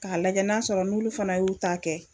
K'a lajɛ n'a sɔrɔ n'lolu fɛnɛ y'u ta kɛ